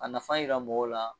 A nafa yira mɔgɔw la